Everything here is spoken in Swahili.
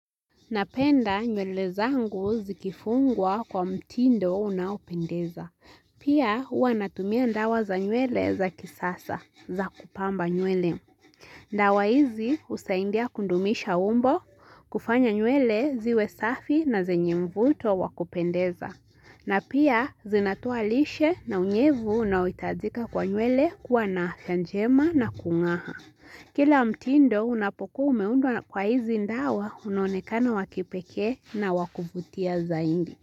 Napenda nywele zangu zikifungwa kwa mtindo unaupendeza. Pia huanatumia dawa za nywele za kisasa za kupamba nywele. Dawa hizi husaidia kudumisha umbo, kufanya nywele ziwe safi na zenye mvuto wakupendeza. Na pia zinatoalishe na unyevu unaohitajika kwa nywele kuwa na afya njema na kung'aa. Kila mtindo unapokuwa umeundwa kwa hizi dawa unonekana wakipekee na wakuvutia zaidi.